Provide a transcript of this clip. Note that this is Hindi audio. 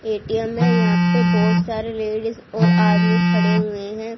ए_टी_एम में यहां पे बहुत सारे लेडिज और आदमी खड़े हुए हैं।